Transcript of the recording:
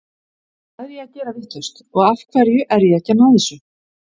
Hvað er ég að gera vitlaust og af hverju er ég ekki að ná þessu?